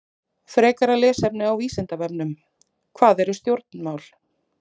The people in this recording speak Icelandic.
Frekara lesefni á Vísindavefnum: Hvað eru stjórnmál?